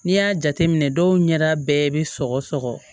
N'i y'a jateminɛ dɔw ɲɛda bɛɛ bɛ sɔgɔ sɔgɔ